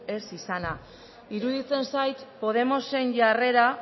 ez izana iruditzen zait podemosen jarrera